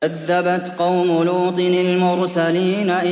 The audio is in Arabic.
كَذَّبَتْ قَوْمُ لُوطٍ الْمُرْسَلِينَ